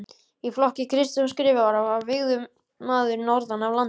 Í flokki Kristjáns Skrifara var vígður maður norðan af landi.